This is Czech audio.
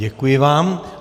Děkuji vám.